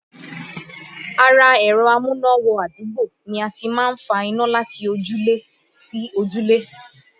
Ara ẹ̀rọ amúná-wọ-adúgbò ni a ti máa ń fa iná láti ojúlé sí ojúlé